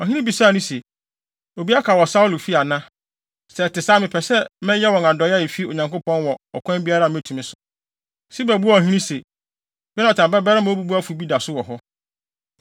Ɔhene no bisaa no se, “Obi aka wɔ Saulo fi ana? Sɛ ɛte saa a mepɛ sɛ mɛyɛ wɔn adɔe a efi Onyankopɔn wɔ ɔkwan biara a metumi so.” Siba buaa ɔhene se, “Yonatan babarima obubuafo bi da so wɔ hɔ.”